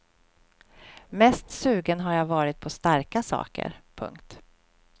Mest sugen har jag varit på starka saker. punkt